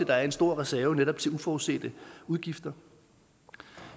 der er en stor reserve netop til uforudsete udgifter